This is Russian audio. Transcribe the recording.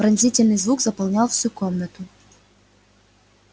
пронзительный звук заполнял всю комнату